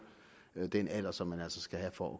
den alder som man altså skal have for